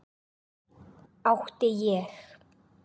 Átti ég.